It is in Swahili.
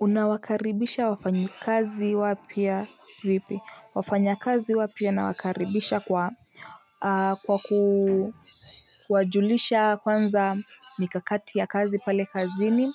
Unawakaribisha wafanyi kazi wapya vipi wafanya kazi wapya na wakaribisha kwa kwa kuwajulisha kwanza mikakati ya kazi pale kazi ni